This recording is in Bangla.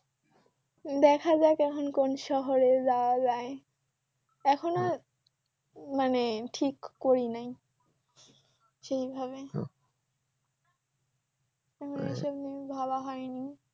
দেখা যাক এখন কোন শহরে যাওয়া যায় এখনো মানে ঠিক করি নাই সেইভাবে তারপরে এই সব নিয়ে ভাবা হয়নি